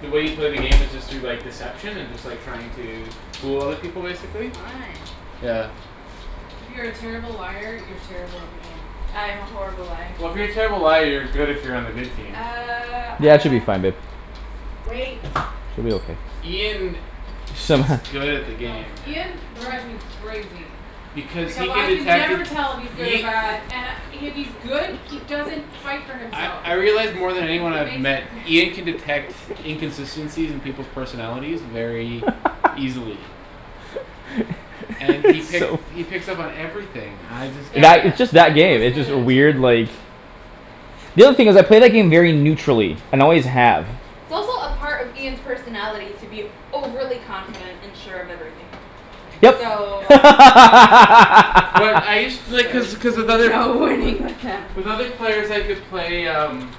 the way you play the game is just through, like, deception and just, like, trying to fool other people, basically. Fun. Yeah. If you're a terrible liar, you're terrible at the game. I am a horrible liar. Well, if you're a terrible liar you're good if you're on the good team. Uh, Yeah, it should ah be fine, babe. Wait. She'll be okay. Ian s- is good at the Go, game. Ian go. drives me crazy. Because he Because can I can detect it, never tell if he's good or Ia- bad and I, if he's good, he doesn't fight for I, himself. I realize more than It anyone I've makes me met cra- Ian can detect inconsistencies in people's personalities very easily. And he pick- So he picks up on everything; I just can't That, Danie- it's just that Daniel game, is it's good at just a it too. weird, like The other thing is, I play that game very neutrally and always have. It's also a part of Ian's personality to be overly confident and sure of everything. Yep. So But I used to, like, cuz, cuz with there's other, no winning with him. with with other players I could play um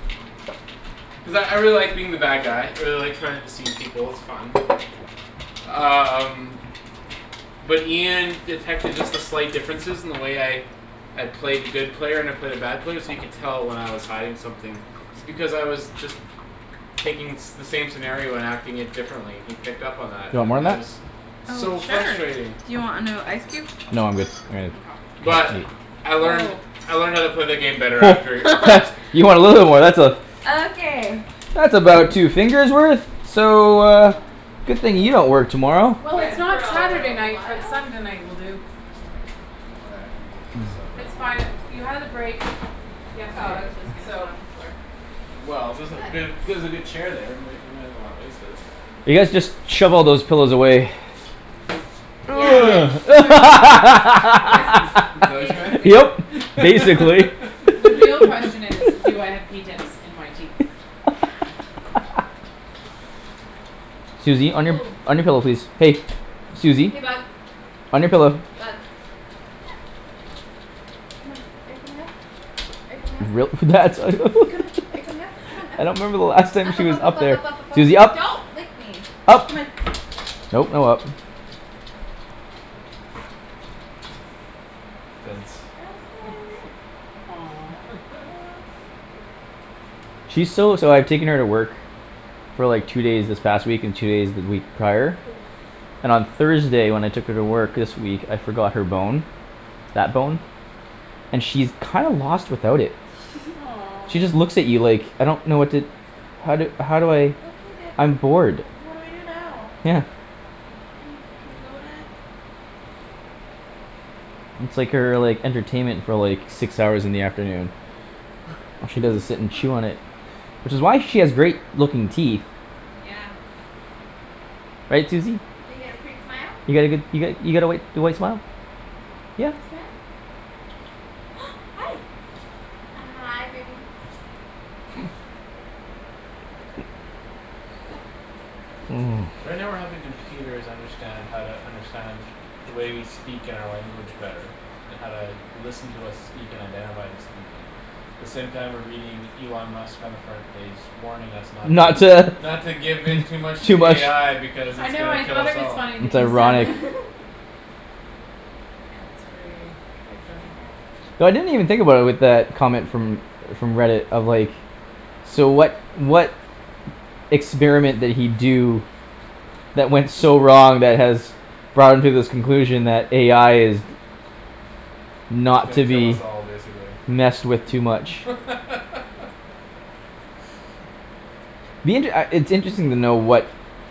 cuz I, I really like being the bad guy. I really like trying to deceive people; it's fun. Um But Ian detected just the slight differences in the way I I play the good player and I play the bad player so you could tell when I was hiding something. It's because I was just taking the same scenario and acting it differently. He picked up on Do that, you want more and on that that? was Oh, So sure, frustrating. do you want another ice cube? No, I'm good. All right. Mkay. But I learned, Oh. I learned how to play the game better after. What. You want a little war, that's a Okay. that's about two fingers worth. So uh Good thing you don't work tomorrow. Well, Good it's for not a Saturday little night but while. Sunday night will do. Oh, yeah, I can move my stuff It's there. fine; you had the break Oh, I yesterday, was just gonna sit so. on the floor. Well, there's a, But ther- there's a good chair there; we may, we may as well not waste it. You guys just shove all those pillows away. Yeah. So where Yeah, That's, is, is basically. that Yep. what you Basically. The real meant? question is, do I have pea tips in my teeth? Susie, on your, Woah. on your pillow, please. Hey. Susie, Hey, bug. on your pillow. Bug. Come on. Are you coming up? Are you coming up? Come on, are you coming up? Come on, up. I don't remember the last time Up, she up, was up, up, up up, there. up, up, up, up, Susie, up. up. Don't lick me. up. Come on. Nope, no up. Fence. I'll sit right over here. She's so, so I've taken her to work for like two days this past week and two days the week prior Oh. and on Thursday when I took her to work this week, I forgot her bone that bone and she's kinda lost without it. She Aw. just looks at you like "I don't know what to how do, how do I "Oh, okay, dad, what I'm bored." d- what do I do now?" Yeah. "Can, can we go, dad?" It's like her, like, entertainment for, like six hours in the afternoon. All she does is sit and chew on it. Which is why she has great looking teeth. Yeah. Right, Susie? You got a pretty smile. You got a good, you got, you got a white, your white smile? Yeah. Can you smile? Hi. Hi, baby. So right now we're helping computers understand how to understand the way we speak and our language better and how to listen to us speak and identify who's speaking the same time we're reading Elon Musk on the front page warning us not Not to to not to give in too much to Too much AI because I it's know, gonna I kill thought us it was all. funny that It's you said ironic. that. That's gra- very funny. Ouch. So I didn't even think about it with that comment from from Reddit of, like So what, what experiment did he do that went so wrong that has brought him to this conclusion that AI is He's not gonna to kill us be all, basically. messed with too much. Me, it, uh, it's interesting to know what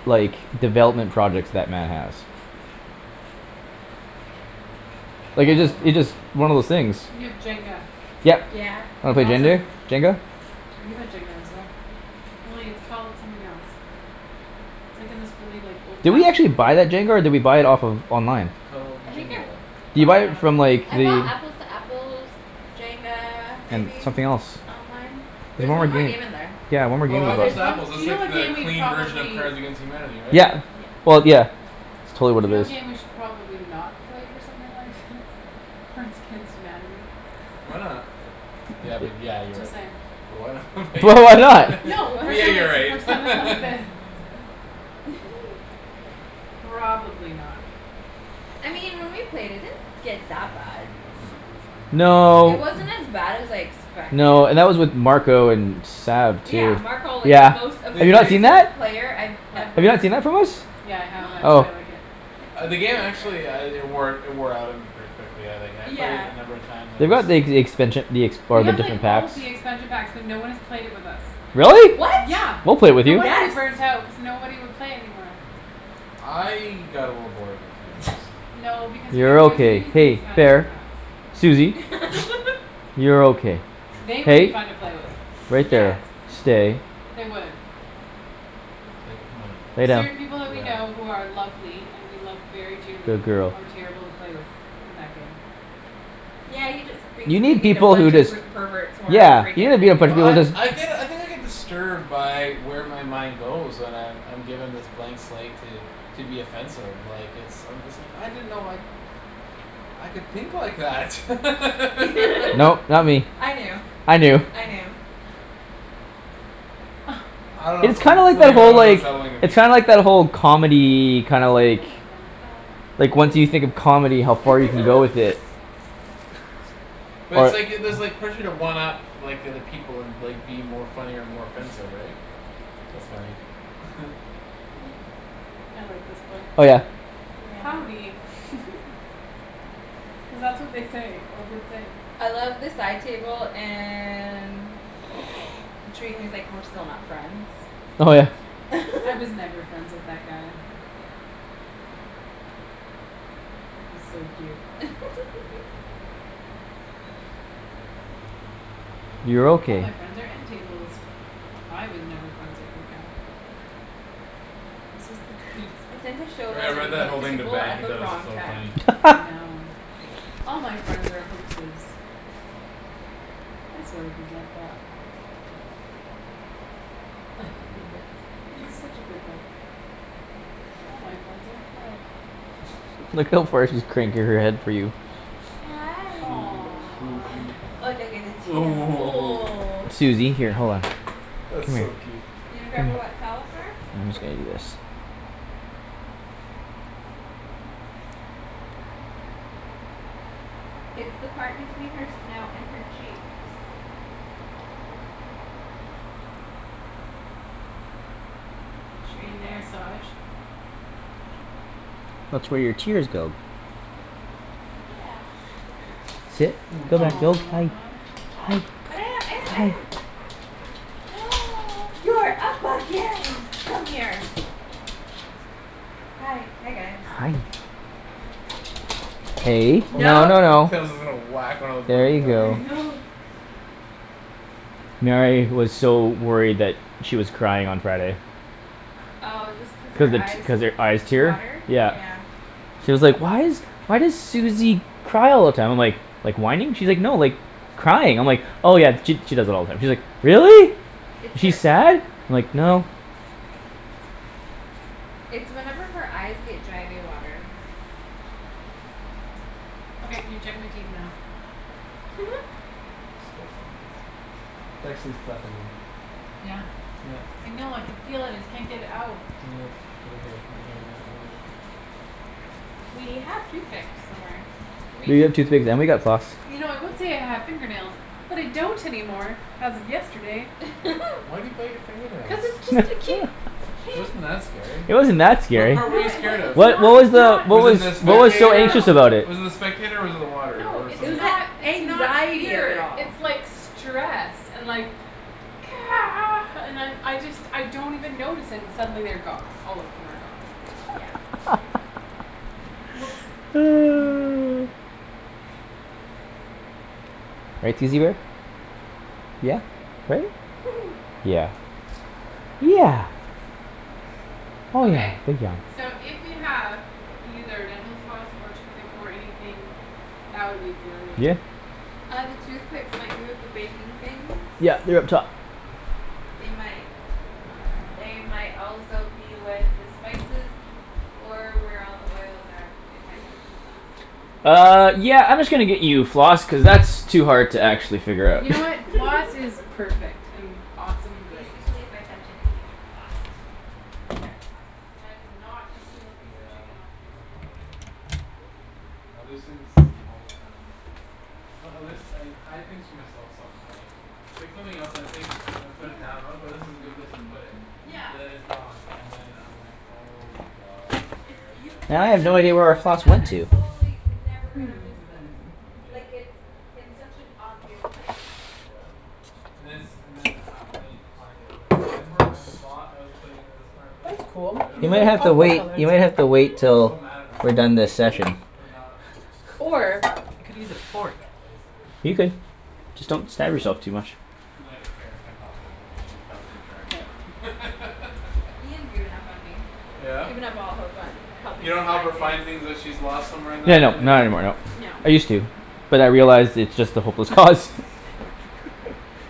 like, development projects that man has. I Like, it just, don't it know. just, one of those things. You have Jenga. Yep. Yeah. Wanna That's play Jendar, awesome. Jenga? We have Jenga as well. Only it's called something else. It's, like, in this really, like, Did we old-fashioned actually looking buy that jenga or did we buy it off of online? Called I think I Jinga. Did you bought buy it it on- from, like, I bought the Apples to Apples Jenga, And maybe something else. online. There There's was one more one more game game. in there. Yeah, one more game Oh, we Or Apples there's bought. to one Apples, Do that's you know like what the game we clean version of probably Cards against Humanity, right? Yeah, Yeah. well, yeah. It's totally what Do you it know what is. game we should probably not play with something like thi- Cards against Humanity. Why not? Yeah, but yeah, you're Just right. saying. But why not but But why yeah, not? yeah. No, What? But for yeah, something, you're right. for something like this. Probably not. I mean when we played it, it didn't get that bad. It No. wasn't as bad as I expected. No, and that was with Marco and Sab Yeah, too, Marco, like, the yeah. most They, Have you not they seen offensive that? played I've What? Have you not ever seen that from us? Yeah, I have. That's why Oh. I like it. Ah, the game actually uh it wore, it wore out on me pretty quickly. But yeah, like, I, I've played it Yeah. a number of times on They this got the ex- expansion, the ex- We part of have, like, different all packs. the expansion packs but no one has played it with us. Really? What? Yeah, We'll play with no you. wonder you Yes. burnt out cuz nobody would play it anymore. I got a little bored of it, to be honest. No, because you You're never got to okay. use the Hey, expansion fair. packs. Susie. You're okay. They would be Hey, fun to play with. right Yes. there, stay. They would. They might. Lay down. Certain people that we know Yeah. who are lovely and we love very dearly Good girl. are terrible to play with in that game. Yeah, you just You basically need need a people who bunch of just per- perverts who aren't Yeah. afraid to offend you. Well, I, I get, I think I get disturbed by where my mind goes when I've, I'm given this blank slate to to be offensive, like, it's, I'm just like, "I didn't know, like I could think like that." Nope, not me. I knew. I I knew. knew. I don't know It's something, kind like something that, about it whole, was like unsettling to me. It's kinda like that whole comedy, kinda like like, once you think of comedy, how far you can go with it. But it's Or like, it, there's like pressure to one up like, the other people and, like, be more funny or more offensive, right? That's funny. I like this book. Oh, yeah. Howdy. Yeah. Cuz that's what they say, or would say. I love the side table and he was, like, "We're still not friends." Oh, yeah. "I was never friends with that guy." Yeah. He's so cute. You're "All my okay. friends are end tables." "I was never friends with that guy." This is the greatest I book. tend to show Yeah, I that read Dang it. that book whole to thing to people Ben; at he the thought it was wrong so time. funny. I know. "All my friend are hoaxes." I sort of resent that. Ah. Read a book. It's such a good book. "All my friend are." Look how far she's cranking her head for you. Hi. Aw. Oh, oh, oh. Susie, Oh, here, hold on. That's Come here. so Susie. cute. You gonna grab a wet towel for her? I'm just gonna do this. It's the part between her snout and her cheeks. Is she Right getting a there. massage? That's where your tears go. Yeah. Sit. Oh, thanks. Hi. Aw. Hi. But I am, I am, I Hi. am. You're up again! Come here. Hi, hi, guys. Hi. Hey, Oh no, No. no, no. Kara's, was gonna whack one of the There you ribbons out. I go. know. Mary was so worried that she was crying on Friday. Oh, just cause Cuz her the t- eyes cuz her eyes tear, water? Yeah. yeah. She was like, "Why is, why does Susie cry all the time?" I'm like "Like whining?" She's like, "No, like crying." I'm like "Oh, yeah, she, she does that all the time." She's like, "Really? It's Is she her sad?" I'm like, "No." It's whenever her eyes get dry they water. Okay, can you check my teeth now? Disgusting. There's actually stuff in them. Yeah. Yep. I know, I could feel it; just can't get it out. Yeah, over here, right here in that We have toothpicks somewhere, do we? We have toothpicks, and we got floss. You know I would Yeah. say I have fingernails, but I don't anymore as of yesterday. Wh- why do you bite your finger nails? Cuz it just a ke- It ke- wasn't that scary. It wasn't that What scary. part were No, you it wa- scared of? it's What, not, what was it's the, not what Was it was the what No, was no, so no, spectator? no, anxious no. about it? Was it the spectator or was it the water No, or It it's something was else? the not, it's not anxiety of it fear. all. It's like stress and like and I'm, I just, I don't even notice, and suddenly they're gone; all of them are gone. Yeah. W- whoops. Right, Susie bear? Yeah. Right? Yeah. Yeah. Oh, yeah. Okay. So if you have either dental floss or toothpick or anything that would be great. Yeah. Uh, the toothpicks might be with the baking things. Yeah, they're up top. They might They might also be with the spices or where all the oils are if I touched them last. Uh, yeah, I'm just gonna get you floss cuz that's too hard to actually figure out. You know what, floss is perfect and awesome and great. Basically if I touch anything you're fucked. You'll never find it. And I did not just steal a piece of Yeah, chicken off this. I can relate. I lose things all the time. It's not, I lose, I hide things from myself some how, like I pick something else and I think and I put it Yeah. down, "Okay, this is a good place to put it." But Yeah. then it's gone and then I'm like "Oh, my god, Like, where did you I put put And I it it?" have down and no you're idea like, where "Oh, our my floss god, went I'm to. totally never gonna miss this." Hmm. Yeah. Like, it's in such an obvious place. Yeah. And then it's, and then uh when I need to find it I'm like, "I remember I thought I was putting it in a smart place That's cool; but I don't You you've remember may like where have to that aqua place wait. color. You was." may have to wait And I'm so till mad at we're myself done this Yeah. session. for not Or remembering you could where the use a fuck fork. that place is. You could. Yeah. Just don't stab Um yourself too much. And then I get Kara to come help me and she helps me track it K. down. Ian's given up on me. He's Yeah? given up all hope on You helping me don't help her find things. find things that she's lost somewhere in Yeah, that, and no, then not anymore, no. No. I used to. But I realized it's just a hopeless cause.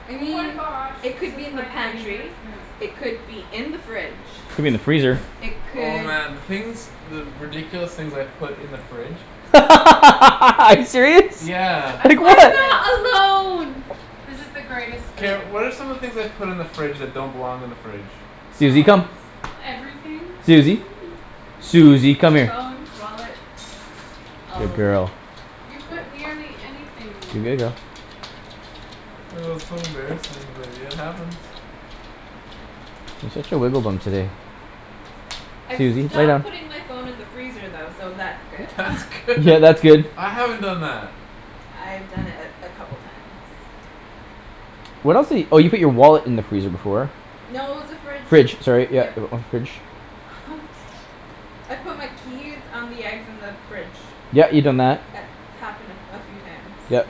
I Oh my mean, gosh, it this could is be in the my favorite pantry. spoon. It could be Could be in the fridge. in the freezer. It Oh, could man, the things the ridiculous things I've put in the fridge. Are you serious? Yeah. I Like love what? this. I'm not alone. This is the greatest Kara, spoon. what are some of the things I've put in the fridge that don't belong in the fridge? Susie, come. Oh, everything. Susie. Keys, Susie, come here. phones, wallets. All Good of it. girl. You put nearly anything. Oh, so embarrassing but it happens. Yeah. You're such a wiggle bum today. I've Susie, lay stopped down. putting my phone in the freezer though, so that's good. That's good. Yeah, that's good. I haven't done that. I've done it a, a couple times. What else di- oh, you put your wallet in the freezer before. No, it was the fridge, Fridge, sorry, yep. yeah, uh, fridge. I've put my keys on the eggs in the fridge. Yeah, you've done that. It's happened a, a few times. Yep.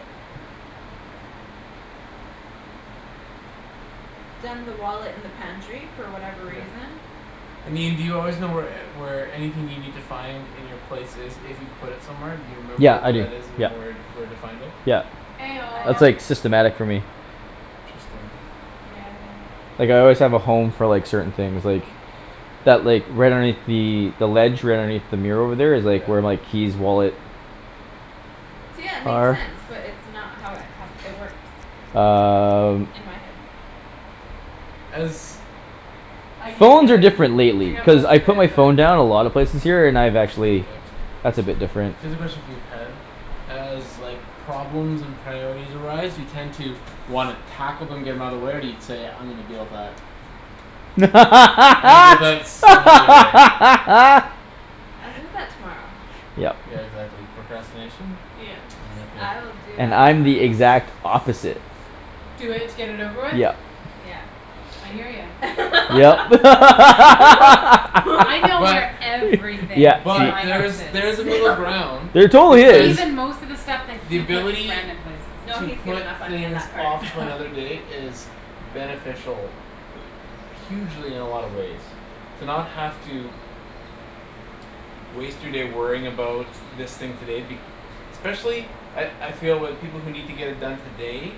Done the wallet in the pantry for whatever Yeah. reason. I mean, do you always know where e- where anything you need to find in your place is if you put it somewhere? Do you remember Yeah, I where do, that is and you yeah. know where, where to find it? Yeah. Eh I That's, don't. oh. like, systematic for me. Interesting. Yeah, I know. Like, I always have a home for, like, certain things, like that, like, right underneath the the ledge right underneath the mirror over there is, Yeah. like, where my keys, wallet See, yeah, it makes are. sense but it's not how it happ- it works. Um In my head. As I can't Phones get are it. different I lately got cuz most I of put it, my but. phone down a lot of places here, and I've actually That's a Okay. bit different. Cuz especially, for you, Ped as, like problems and priorities arise you tend to wanna tackle them, get 'em outta the way, or do you say "I'm gonna deal with that" "I'm gonna deal with that some other day." I'll do that tomorrow. Yep. Yeah, exactly. Procrastination. Yes, I'm with ya. I'll do And that I'm the tomorrow. exact opposite. Do it to get it over with? Yep. Yeah. I hear ya. Yep. I know But where everything in but my house Yeah, there's, she is. there's a middle No. ground. There totally Cuz is. Even most of the stuff that the he puts ability random places. No, to he's put given up on me on things that part. off to another day is beneficial hugely in a lot of ways to not have to waste your day worrying about this thing today be- especially at, I feel with people who need to get it done today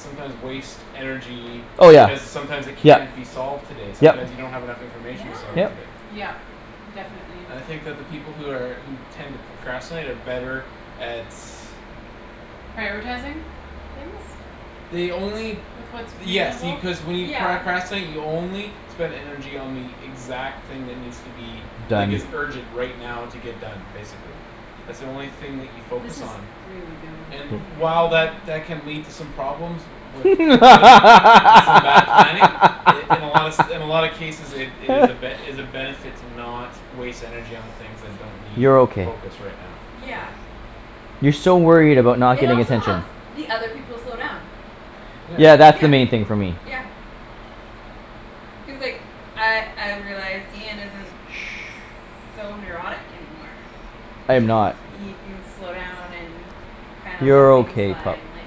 sometimes waste energy Oh, yeah. because sometimes it Yep, can't be solved today. Sometime yep. you don't have enough Yeah. information to solve it Yep. today. Yep, definitely. I think that the people who are, who tend to procrastinate are better at Prioritizing things They only with what's Yes, see, reasonable. cuz when you Yeah. pracrastinate, you only spend energy on the exact thing that needs to be like, Done. is urgent right now to get done, basically. That's the only thing that you focus This is on. really good. And I while know. that that can lead to some problems with, wi- with, with some bad planning in, in a lot se- in a lot of cases it, it is a ben- is a benefit to not waste energy on the things that don't need You're okay. focus right now, so. Yeah. You're so worried about not It getting also attention. helps the other people slow down. Yeah. Yeah, that's the Yeah. main thing for me. Yeah. Cuz, like, I, I've realized Ian isn't Shh. so neurotic anymore. I am It ca- not. he can slow down and kinds let You're things okay, pup. and, like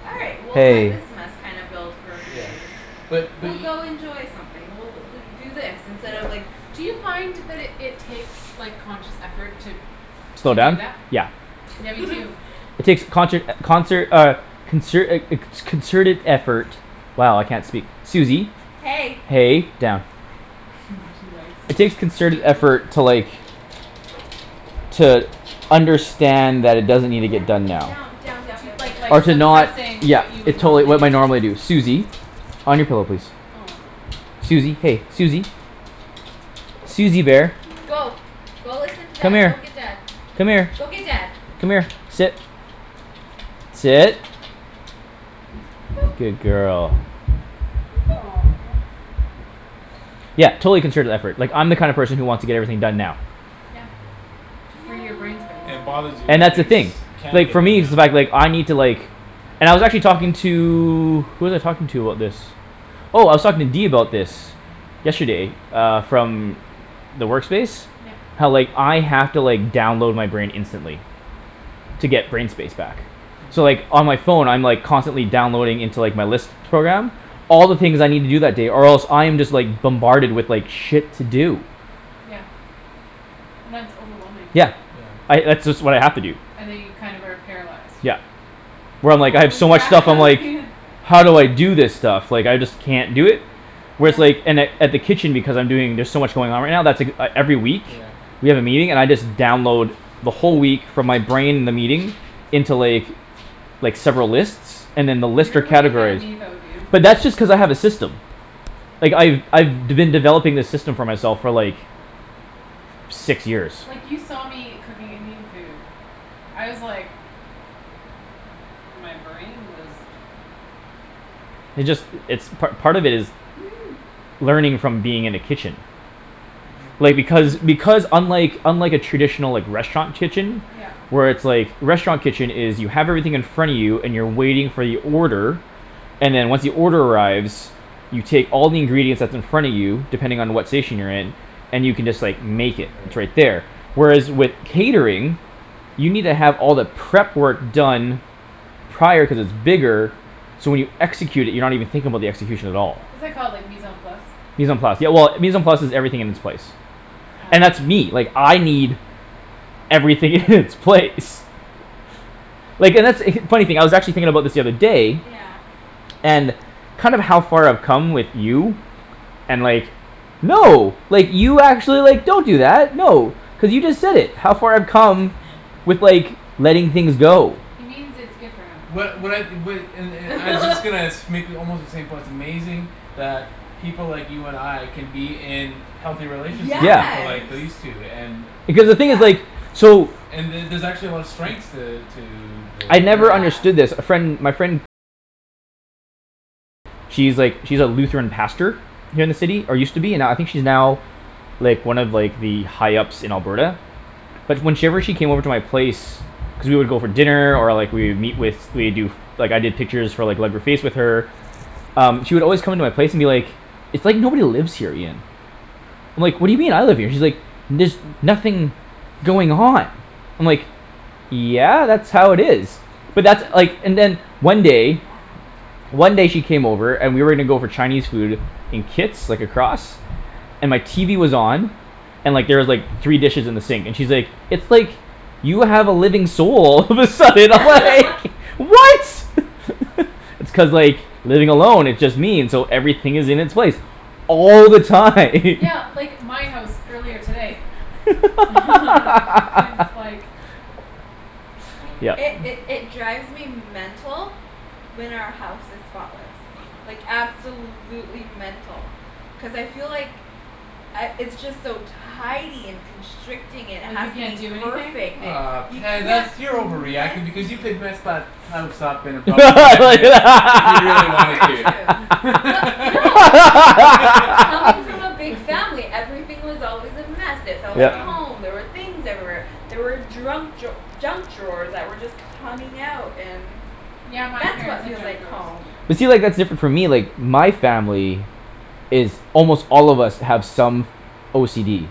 "All right, Yeah. we'll let Hey. this mess kinda build for a few Yeah. days." Shh. But, but "We'll e- go enjoy something, we'll do do this instead of, Yeah. like" Do you find that it, it takes, like, conscious effort to Slow to do down? that? Yeah. Yeah, me too. It takes conshert, concert, uh consert a, a co- concerted effort. Wow, I can't speak. Susie. Hey. Hey, down. She likes It you. takes concerted Yo. effort to, like to understand that it doesn't need to get Down, done now. down, down, down, Do yo- down, down, like, like, Or to down. not, suppressing yeah. what you would It totally, normally what do. my normally do. Susie. On your pillow, please. Aw. Susie, hey, Susie. Susie bear. Go. Go listen to Come dad, go here. get dad. Come here. Go get dad. Come here, sit. Sit. Good girl. Aw. Yeah, totally concerted effort. Like, I'm the kind of Yeah. person who wants to get everything done now. Yeah. To free your No. brain space. And it bothers you when And that's the things thing. can't Like, get for done me now. it's the fact, like, I need to, like And I was actually talking to Who was I talking to about this? Oh, I was talking to D about this. Yesterday, uh, from the work space Yep. how, like, I have to, like, download my brain instantly. To get brain space back. So, Mhm. like, on my phone, I'm, like, constantly downloading into, like, my list program all the things I need to do that day or else I'm just, like bombarded with, like, shit to do. Yeah. And that's overwhelming. Yeah. Yeah. I, that's just what I have to do. And then you kind of are paralyzed. Yep. Where I'm, like, I have Holy so much stuff I'm crap like Ian. "How do I do this stuff? Like I just can't do it." Whereas, Yeah. like, in at, at the kitchen Because I'm doing, there's so much going on right now, that's ek- every week. Yeah. We have a meeting, and I just download the whole week from my brain the meeting into, like like, several lists and then the list You're are way ahead of categorized. me though, dude. But that's just cuz I have a system. Like, I've, I've d- been developing this system for myself for, like six years. Like you saw me cooking Indian food. I was like My brain was It just, it's part, part of it is learning from being in a kitchen. Mhm. Like, because, Hmm. because unlike unlike a traditional, like, restaurant kitchen Yep. where it's, like, a restaurant kitchen is you have everything in front of you and you're waiting for your order and then once the order arrives you take all the ingredients that's in front of you depending on what station you're in and you can just, like, make it, it's right Right. there. Whereas with catering you need to have all the prep work done prior cuz it's bigger so when you execute it, you're not even thinking about the execution at all. What's that called, like, mise en place? Mise en place, yeah, well, mise en place is "everything in its place." Huh. And that's me. Like, I need everything in its place. Like, and that's, funny thing I was actually thinking about this the other day Yeah. and kind of how far I've come with you and like, no like, you actually, like, don't do that. No, cuz you just said it, how far I've come with, like, letting things go. He means its good for him. What, what I, what, and, and I was just gonna sh- make almost the same point; it's amazing that people like you and I can be in healthy relationships with people like Yeah. Yes, these two and Because the thing is, yeah. like so and the- there's actually a lot of strengths to, to the I'd never pairing. Yeah. understood this. A friend, my friend she's, like, she's a Lutheran pastor here in the city, or used to be, now, I think she's now like, one of, like, the high ups in Alberta. But when she ever, she came over to my place cuz we would go for dinner, or, like, we would meet with, we'd do like, I did pictures for, like with her um, she would always come into my place and be like "It's like nobody lives here, Ian." I'm like, "What do you mean? I live here." And she's like "There's nothing going on." I'm like "Yeah, that's how it is." But that's, like, and then one day Yeah. one day she came over and we were gonna go for Chinese food in Kits, like, across. And my TV was on. And, like, there was, like, three dishes in the sink, and she's like, "It's like you have a living soul." All of a sudden I was like "What?" It's cuz, like, living along it just means so everything is in its place all the time. Yeah, like, my house earlier today. It's like Oh, It, okay. Yep. it, it drives me mental when our house is spotless. Like, absolutely mental. Cuz I feel like I, it's just so tidy and constricting, it Like has you to can't be do anything? perfect, it, Ah, you Ped, can't that's, be you're over reacting because you messy. could mess that house up in about five minutes if you really wanted Very to. true. But no. Coming from a big family, everything was always a mess, it felt like Yeah. Yep. home, there were things everywhere. There were drunk draw- junk drawers that were just coming out and Yeah, my that's parents what had feels junk like drawers. home. But see, like, that's different for me, like my family is almost all of us have some OCD.